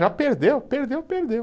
Já perdeu, perdeu, perdeu.